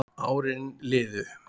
Árin liðu